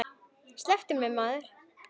Slepptu mér maður.